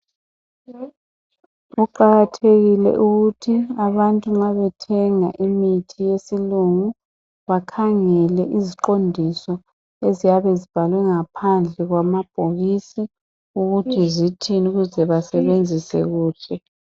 Kuqakathekile ukuthi abantu nxa bethenga imithi yesilungu bakhangele iziqondiso eziyabe zibhalwe ngaphansi kwamabhokisi ukuthi zithini ukuze basebenzesi kuhle.